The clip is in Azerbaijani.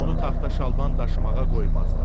Onu taxta şalban daşımağa qoymazlar.